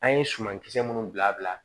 An ye sumankisɛ minnu bila